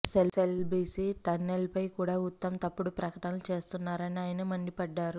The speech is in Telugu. ఎస్ఎల్బిసి టన్నెల్పై కూడా ఉత్తమ్ తప్పుడు ప్రకటనలు చేస్తున్నారని ఆయన మండిపడ్డారు